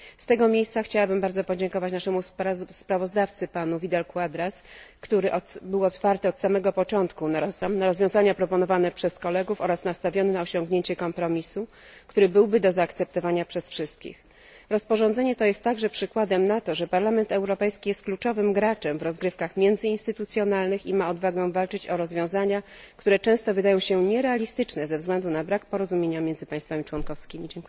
Z tego miejsca chciałabym bardzo podziękować naszemu sprawozdawcy, panu Vidal Quadrasowi, który był otwarty od samego początku na rozwiązania proponowane przez kolegów oraz nastawiony na osiągnięcie kompromisu, który byłby do zaakceptowania przez wszystkich. Rozporządzenie to jest także przykładem na to, że Parlament Europejski jest kluczowym graczem w rozgrywkach międzyinstytucjonalnych i ma odwagę walczyć o rozwiązania, które często wydają się nierealistyczne ze względu na brak porozumienia między państwami członkowskimi.